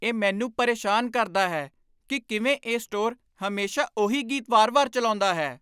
ਇਹ ਮੈਨੂੰ ਪਰੇਸ਼ਾਨ ਕਰਦਾ ਹੈ ਕੀ ਕਿਵੇਂ ਇਹ ਸਟੋਰ ਹਮੇਸ਼ਾ ਉਹੀ ਗੀਤ ਵਾਰ ਵਾਰ ਚੱਲਾਉਂਦਾ ਹੈ